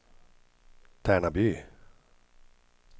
Tärnaby